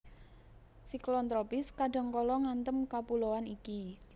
Siklon tropis kadhangkala ngantem kapuloan iki